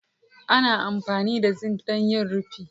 ana amfani da zinc don yin rufi